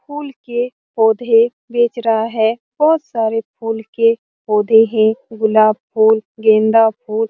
फूल के पौधे बेच रहा है बहुत सारे फूल के पौधे हैं गुलाब फूल गेंदा फूल --